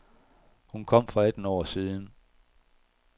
Hun kom for atten år siden.